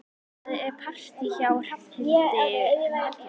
Það er partí hjá Hrafnhildi um helgina.